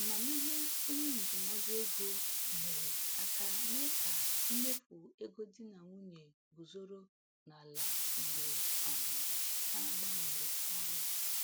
Amamihe onye ndụmọdụ ego nyere aka mee ka mmefu ego di na nwunye guzoro n’ala mgbe um ha gbanwere ọrụ.